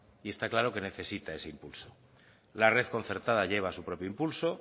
y está que necesita ese impulso la red concertada lleva su propio impulso